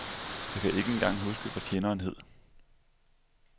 Jeg kan ikke engang huske, hvad tjeneren hed.